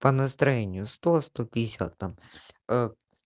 по настроению сто сто пятьдесят там